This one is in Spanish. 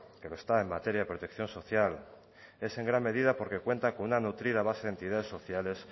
que lo está en materia de protección social es en gran medida porque cuenta con una nutrida base de entidades sociales